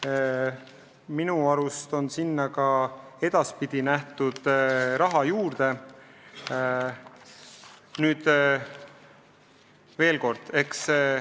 Ja minu arust on selleks edaspidi rohkem raha ette nähtud.